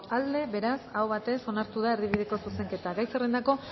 aldekoa beraz aho batez onartu da erdibideko zuzenketa gai zerrendako